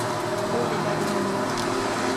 коле воронине